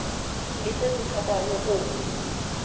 le se se hlokwago go